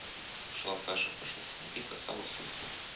шла саша по шоссе и сосала сушку